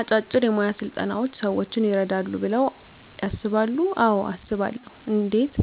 አጫጭር የሞያ ስልጠናዎች ሰዎችን ይረዳሉ ብለው ያስባሉ አዎ አስባለሁ እንዴት